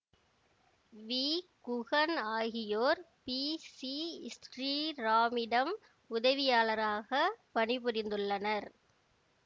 we Guhan ஆகியோர் P C ஸ்ரீராமிடம் உதவியாளராக பணிபுரிந்துள்ளனர்